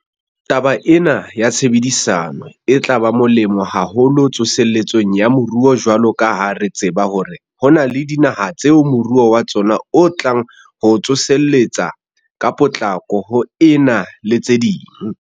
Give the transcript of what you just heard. Taba ena ya tshebedisano e tla ba molemo haholo tsoseletsong ya moruo jwalo ka ha re tseba hore ho na le dinaha tseo moruo wa tsona o tlang ho tsoseletseha ka potlako ho ena le tse ding.